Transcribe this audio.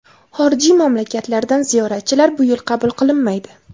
Xorijiy mamlakatlardan ziyoratchilar bu yil qabul qilinmaydi.